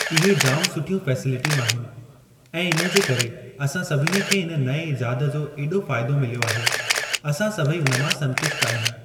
इहे जाम सुठियूं फैसेलिटियूं आहिनि ऐं इन जे करे असां सभिनी खे इन नएं इजाद जो ऐॾो फ़ाइदो मिलियो आहे असां सभेई उन मां संतुष्ट आहियूं।